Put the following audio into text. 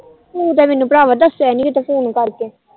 ਤੂੰ ਤਾ ਮੈਨੂੰ ਭਰਾਵਾ ਦੱਸਿਆ ਨੀ ਫੋਨ ਕਰਕੇ